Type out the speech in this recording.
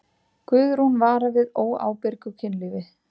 Guðrún vara við óábyrgu kynlífi.